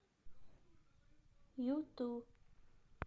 юту